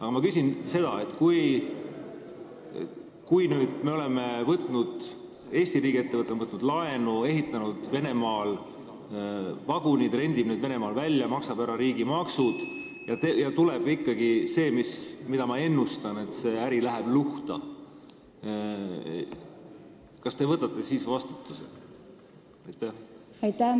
Aga ma küsin seda: kui Eesti riigiettevõte on võtnud laenu, ehitanud Venemaal vagunid, rendib need Venemaal välja ja maksab ära riigimaksud, aga juhtub ikkagi see, mida ma ennustan, et see äri läheb luhta, siis kas te võtate vastutuse?